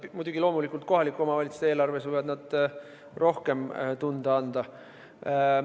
Loomulikult kohalike omavalitsuste eelarves võivad nad rohkem tunda anda.